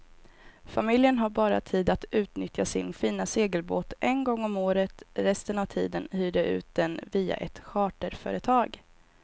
Familjen har bara tid att utnyttja sin fina segelbåt en gång om året, resten av tiden hyr de ut den via ett charterföretag.